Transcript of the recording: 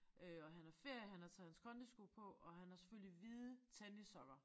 Øh og han har ferie han har taget hans kondisko på og han har selvfølgelig hvide tennissokker